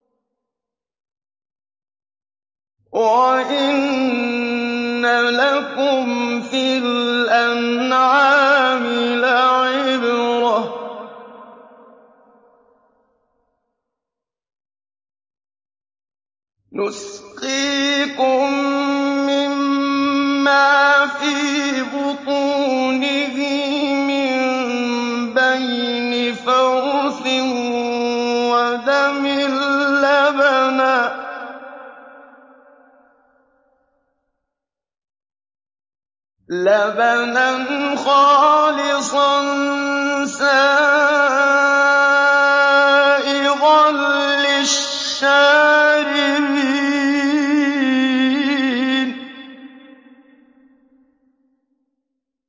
وَإِنَّ لَكُمْ فِي الْأَنْعَامِ لَعِبْرَةً ۖ نُّسْقِيكُم مِّمَّا فِي بُطُونِهِ مِن بَيْنِ فَرْثٍ وَدَمٍ لَّبَنًا خَالِصًا سَائِغًا لِّلشَّارِبِينَ